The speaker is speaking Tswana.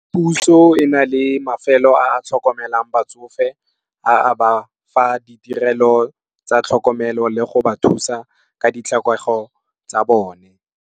Puso e na le mafelo a a tlhokomelang batsofe a ba fa ditirelo tsa tlhokomelo le go ba thusa ka ditlhokego tsa bone.